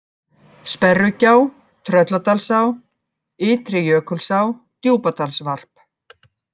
Sperrugjá, Trölladalsá, Ytri-Jökulsá, Djúpadalsvarp